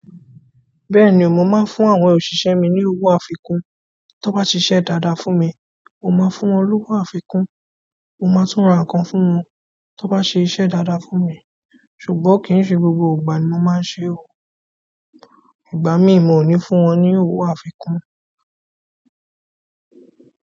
Bẹ́ẹ̀ni, mo máa ń fún àwọn òṣìṣẹ́ mi ní owó àfikún. Tan bá ṣiṣẹ́ dáadáa fún mi, mo máa fún wọn lówó àfikún. Mo máa tún ra nǹkan fún wọn, tan bá ṣe iṣẹ́ dáadáa fún mi. Ṣùgbọ́n kì í ṣe gbogbo ìgbà ni mo máa ń ṣe ò. Ìgbà mi mo ni fún wọn ní owó àfikún.